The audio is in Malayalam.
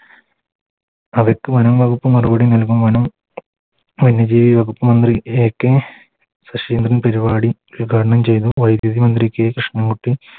അവക്ക് വനംവകുപ്പ് മറുപടി നൽകും വനം വന്യ ജീവി വകുപ്പ് മന്ത്രി AK ശശീന്ദ്രൻ പെരുവാടി ഉദ്‌ഘാടനം വൈദ്യുതി മന്ത്രി K കൃഷ്ണൻ കുട്ടി